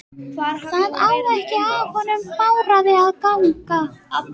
Það á ekki af honum Bárði að ganga.